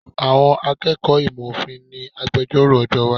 Àwọn akẹ́kọ̀ọ́ ìmọ̀ òfin ni agbejọ́rò ọjọ́ iwájú.